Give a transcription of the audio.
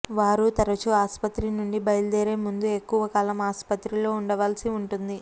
వారు తరచూ ఆస్పత్రి నుండి బయలుదేరే ముందు ఎక్కువకాలం ఆసుపత్రిలో ఉండవలసి ఉంటుంది